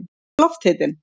hver er lofthitinn